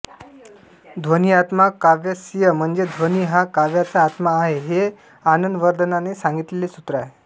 ध्वनिआत्मा काव्यस्य म्हणजे ध्वनि हा काव्याचा आत्मा आहे हे आनंदवर्धनाने सांगितलेले सूत्र आहे